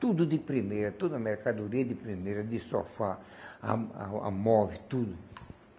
Tudo de primeira, toda a mercadoria de primeira, de sofá, a a a móvel, tudo.